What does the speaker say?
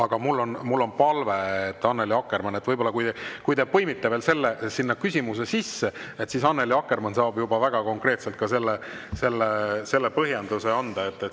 Samas mul on palve, et kui te põimite selle teema oma teise küsimuse sisse, siis Annely Akkermann saab juba väga konkreetselt ka seda põhjendada.